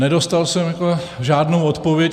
Nedostal jsem žádnou odpověď.